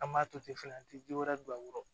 An b'a to ten fɛnɛ an ti ji wɛrɛ don a kɔrɔ